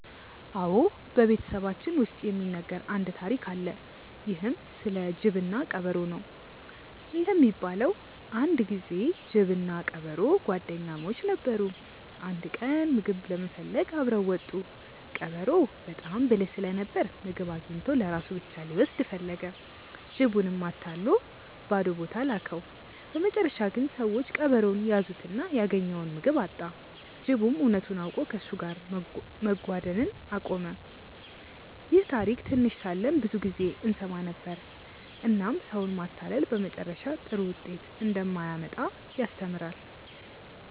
አዎ፣ በቤተሰባችን ውስጥ የሚነገር አንድ ታሪክ አለ። ይህም ስለ ጅብና ቀበሮ ነው። እንደሚባለው አንድ ጊዜ ጅብና ቀበሮ ጓደኛሞች ነበሩ። አንድ ቀን ምግብ ለመፈለግ አብረው ወጡ። ቀበሮው በጣም ብልህ ስለነበር ምግብ አግኝቶ ለራሱ ብቻ ሊወስድ ፈለገ። ጅቡንም አታሎ ባዶ ቦታ ላከው። በመጨረሻ ግን ሰዎች ቀበሮውን ያዙትና ያገኘውን ምግብ አጣ። ጅቡም እውነቱን አውቆ ከእሱ ጋር መጓደን አቆመ። ይህን ታሪክ ትንሽ ሳለን ብዙ ጊዜ እንሰማ ነበር፣ እናም ሰውን ማታለል በመጨረሻ ጥሩ ውጤት እንደማያመጣ ያስተምራል።